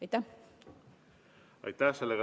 Aitäh!